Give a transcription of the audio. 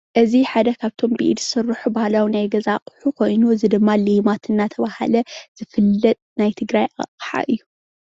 እዚ ሓደ ካብቶም ብኢድ ዝስርሑ ባህላዊ ናይ ገዛ ኣቁሑ ኮይኑ እዚ ድማ ሌማት እንዳተባሃለ ዝፍለጥ ናይ ትግራይ ኣቅሓ እዩ፡፡